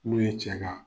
N'u ye cɛ ka